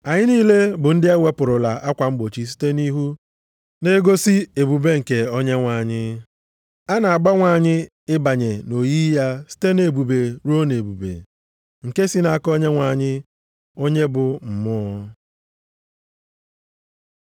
Anyị niile bụ ndị e wepụrụla akwa mkpuchi site nʼihu, na-egosi ebube nke Onyenwe anyị. A na-agbanwe anyị ịbanye nʼoyiyi ya site nʼebube ruo nʼebube, nke si nʼaka Onyenwe anyị, onye bụ Mmụọ.